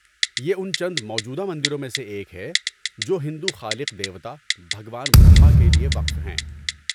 یہ ان چند موجودہ مندروں میں سے ایک ہے جو ہندو خالق دیوتا، بھگوان برہما، کے لیے وقف ہیں۔